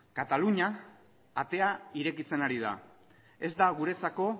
katalunia atea irekitzen ari da ez da guretzako